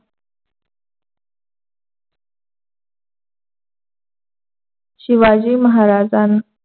शिवाजी महाराजांना